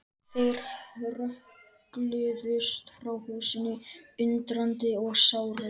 Þeir hrökkluðust frá húsinu, undrandi og sárir.